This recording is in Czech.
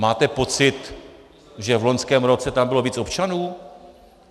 Máte pocit, že v loňském roce tam bylo víc občanů?